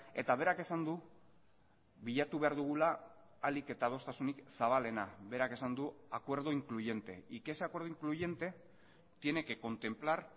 eta berak esan du bilatu behar dugula ahalik eta adostasunik zabalena berak esan du acuerdo incluyente y que ese acuerdo incluyente tiene que contemplar